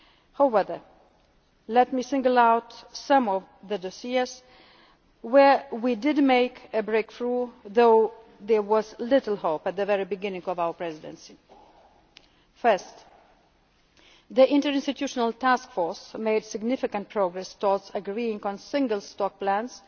as they had hoped. However, let me single out some of the areas in which we did make a breakthrough, although there was little hope of this at the beginning of our Presidency. Firstly, the interinstitutional task force made significant progress towards agreeing on